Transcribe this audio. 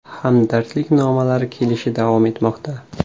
Hamdardlik nomalari kelishi davom etmoqda.